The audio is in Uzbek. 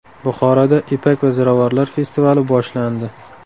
Buxoroda ipak va ziravorlar festivali boshlandi.